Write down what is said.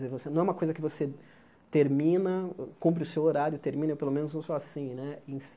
Você não é uma coisa que você termina, cumpre o seu horário, termina, e pelo menos eu sou assim, né?